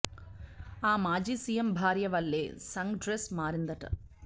ఆ మాజీ సీఎం భార్య వల్లే సంఘ్ డ్రెస్ మారిందట